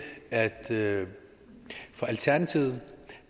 at det for alternativet